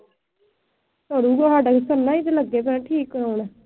ਸਰੂਗਾ ਸਾਡਾ ਤਾਂ ਸਰਨਾ ਈ ਨੀ ਲੱਗੇ ਪਏ ਆ ਠੀਕ ਕਰਵਾਉਣ।